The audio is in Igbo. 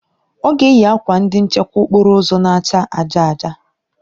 Ọ ga-eyi akwa ndị nchekwa okporo ụzọ na-acha aja aja